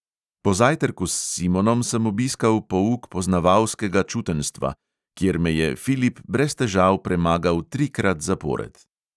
Po zajtrku s simonom sem obiskal pouk poznavalskega čutenjstva, kjer me je filip brez težav premagal trikrat zapored.